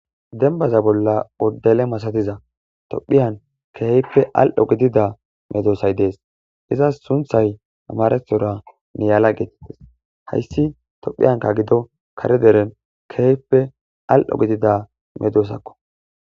dembaza bolla oddele masatiza tophiyan keeyppe al7o gidida medoosay dees izas sunthay amarethora neyaala geetites hayssi tophiyanka gido kare deren keepe al7o gidida medoosakko